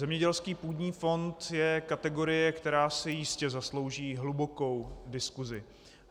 Zemědělský půdní fond je kategorie, která si jistě zaslouží hlubokou diskusi.